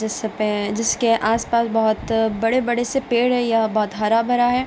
जिस सब पे जिस के आसपास बहुत बड़े-बड़े से पेड़ हैं यह बहुत हरा भरा है |